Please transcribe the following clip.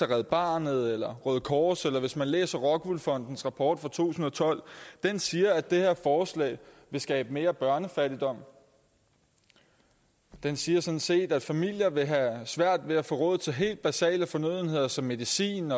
red barnet eller det røde kors eller læser rockwool fondens rapport fra to tusind og tolv den siger at det her forslag vil skabe mere børnefattigdom den siger sådan set at familier vil have svært ved at få råd til helt basale fornødenheder som medicin